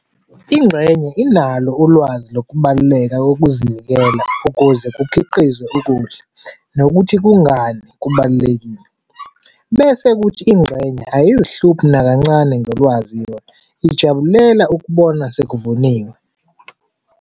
Ingxenye inalo ulwazi lokubaluleka lokuzinikela ukuze kukhiqizwe ukudla nokuthi kungani kubalulekile. Bese kuthi ingxenye ayizihluphi nakancane ngolwazi yona, ijabulela ukubona sekuvuniwe.